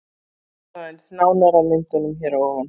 Víkjum aðeins nánar að myndunum hér að ofan.